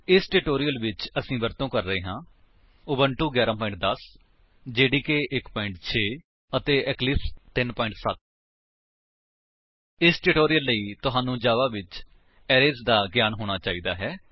ਇਸ ਟਿਊਟੋਰਿਲ ਵਿੱਚ ਅਸੀ ਵਰਤੋ ਕਰ ਰਹੇ ਹਾਂ ਉਬੁੰਟੂ 11 10 ਜੇਡੀਕੇ 1 6 ਅਤੇ ਇਕਲਿਪਸ 3 7 0 ਇਸ ਟਿਊਟੋਰਿਲ ਲਈ ਤੁਹਾਨੂੰ ਜਾਵਾ ਵਿੱਚ ਅਰੇਜ਼ ਦਾ ਗਿਆਨ ਹੋਣਾ ਚਾਹੀਦਾ ਹੈ